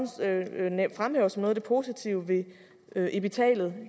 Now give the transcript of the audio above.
fremhæver som noget af det positive ved epitalet